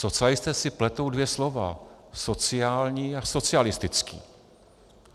Socialisté si pletou dvě slova - sociální a socialistický.